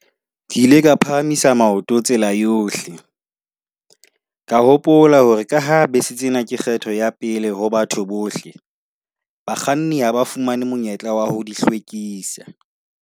Ke ile ka phahamisa maoto tsela yohle. Ka hopola hore ka ha bese tsena ke kgetho ya pele ho batho bohle, bakganni ha ba fumane monyetla wa ho di hlwekisa.